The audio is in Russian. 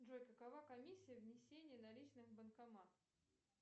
джой какова комиссия внесения наличных в банкомат